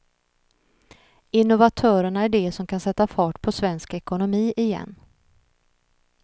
Innovatörerna är de som kan sätta fart på svensk ekonomi igen.